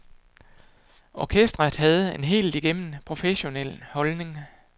Orkestret havde en helt igennem professionel holdning.